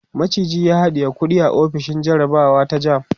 maciji ya haɗiye kuɗi a ofishin jarabawa ta JAMB